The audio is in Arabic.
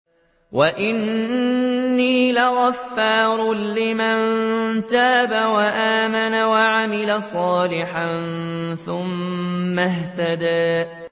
وَإِنِّي لَغَفَّارٌ لِّمَن تَابَ وَآمَنَ وَعَمِلَ صَالِحًا ثُمَّ اهْتَدَىٰ